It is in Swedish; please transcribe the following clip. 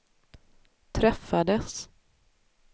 träffades